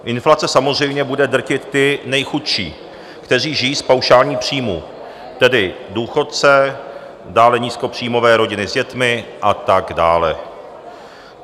Inflace samozřejmě bude drtit ty nejchudší, kteří žijí z paušálních příjmů, tedy důchodce, dále nízkopříjmové rodiny s dětmi a tak dále.